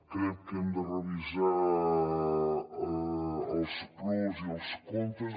crec que hem de revisar els pros i els contres